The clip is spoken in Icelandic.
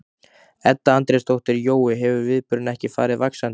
Edda Andrésdóttir: Jói, hefur viðburðurinn ekki farið vaxandi?